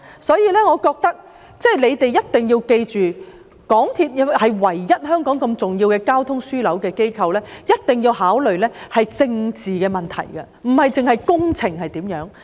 所以，我覺得當局一定要記着，港鐵公司是香港唯一一間重要的交通樞紐機構，一定要考慮政治的問題，不單是工程方面。